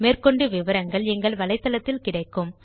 மேற்கொண்டு விவரங்கள் எங்கள் வலைத்தளத்தில் கிடைக்கும்